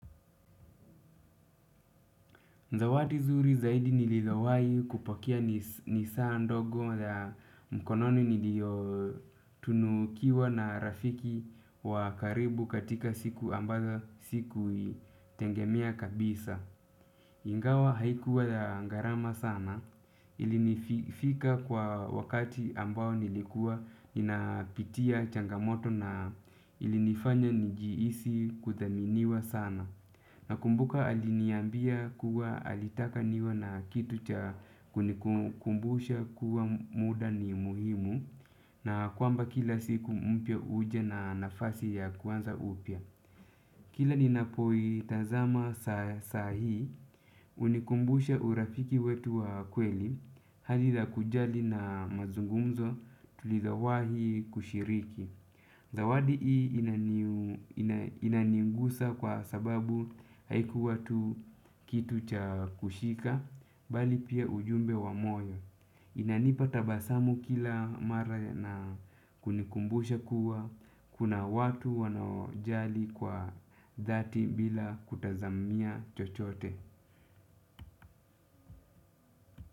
Zawadi zuri zaidi nililowai kupokea ni saa ndogo mkononi nilio tunukiwa na rafiki wa karibu katika siku ambazo sikuitegemea kabisa. Ingawa haikuwa ya garama sana ilinifika kwa wakati ambao nilikuwa ninapitia changamoto na ilinifanya nijihisi kuthaminiwa sana. Nakumbuka aliniambia kuwa alitaka niwe na kitu cha kunikumbusha kuwa muda ni muhimu na kwamba kila siku mpya huja na nafasi ya kuanza upya. Kila ninapoitazama sahi, unikumbusha urafiki wetu wa kweli, hali za kujali na mazungumzo tulizowahi kushiriki. Zawadi hii inaningusa kwa sababu haikuwa tu kitu cha kushika, bali pia ujumbe wa moyo. Inanipa tabasamu kila mara na kunikumbusha kuwa, kuna watu wanaojali kwa dhati bila kutazamia chochote.